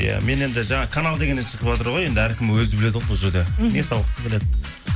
иә мен енді жаңағы канал дегеннен шығыватыр ғой енді әркім өзі біледі ғой бұл жерде мхм не салғысы келеді